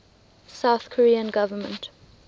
south korean government